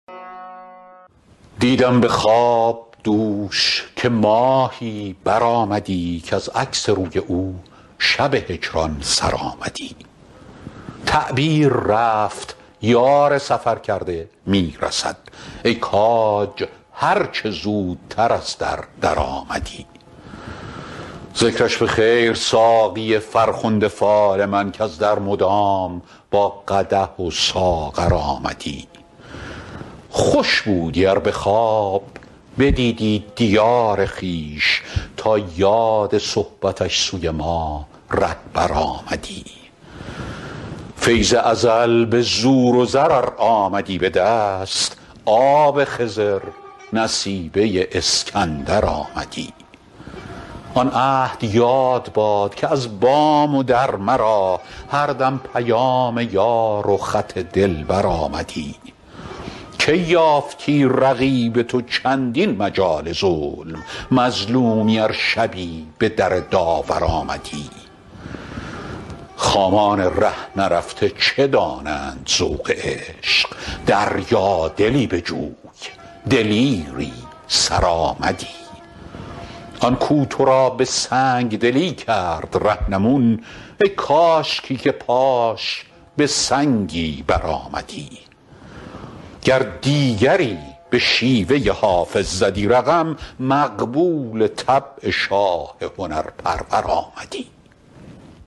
دیدم به خواب دوش که ماهی برآمدی کز عکس روی او شب هجران سر آمدی تعبیر رفت یار سفرکرده می رسد ای کاج هر چه زودتر از در درآمدی ذکرش به خیر ساقی فرخنده فال من کز در مدام با قدح و ساغر آمدی خوش بودی ار به خواب بدیدی دیار خویش تا یاد صحبتش سوی ما رهبر آمدی فیض ازل به زور و زر ار آمدی به دست آب خضر نصیبه اسکندر آمدی آن عهد یاد باد که از بام و در مرا هر دم پیام یار و خط دلبر آمدی کی یافتی رقیب تو چندین مجال ظلم مظلومی ار شبی به در داور آمدی خامان ره نرفته چه دانند ذوق عشق دریادلی بجوی دلیری سرآمدی آن کو تو را به سنگ دلی کرد رهنمون ای کاشکی که پاش به سنگی برآمدی گر دیگری به شیوه حافظ زدی رقم مقبول طبع شاه هنرپرور آمدی